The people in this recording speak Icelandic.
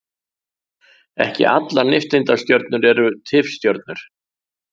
ekki allar nifteindastjörnur eru tifstjörnur